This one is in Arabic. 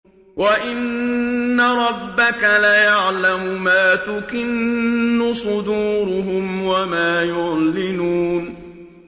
وَإِنَّ رَبَّكَ لَيَعْلَمُ مَا تُكِنُّ صُدُورُهُمْ وَمَا يُعْلِنُونَ